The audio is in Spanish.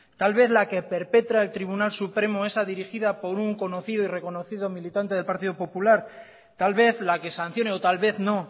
tal vez la que perpetra el tribunal supremo esa dirigida por un conocido y reconocido militante del partido popular tal vez la que sancione o tal vez no